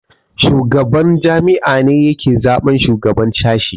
Shugaban jami'a ne yake zaɓen shugaban sashe